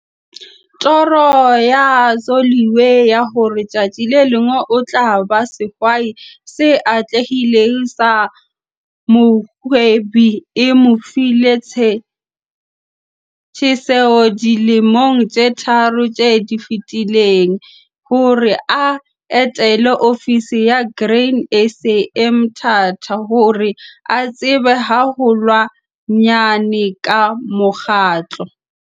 Toro ya Zoliwe ya hore tsatsi le leng o tla ba sehwai se atlehileng sa mohwebi e mo file tjheseho dilemong tse tharo tse fetileng hore a etele ofisi ya Grain SA e Mthatha hore a tsebe haholwanyane ka mokgatlo ona.